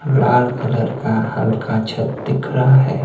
लाल colour का हल्का छत दिख रहा है।